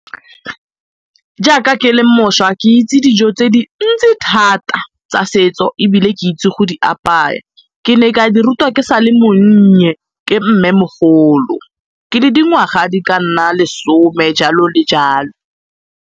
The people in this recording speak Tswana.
Jaaka ke le mošwa ke itse dijo tse di ntsi thata tsa setso ebile ke itse go di apaya. Ke ne ka di rutwa ke sa le monnye ke mmemogolo, ke le dingwaga di ka nna lesome jalo le jalo.